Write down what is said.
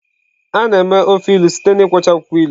Id ofe ilu mere site na akwụkwọ ilu akwọcha.